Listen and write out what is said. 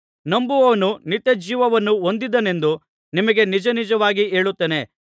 ನಂಬುವವನು ನಿತ್ಯಜೀವವನ್ನು ಹೊಂದಿದ್ದಾನೆಂದು ನಿಮಗೆ ನಿಜನಿಜವಾಗಿ ಹೇಳುತ್ತೇನೆ